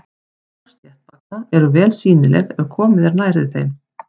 Hár sléttbaka eru vel sýnileg ef komið er nærri þeim.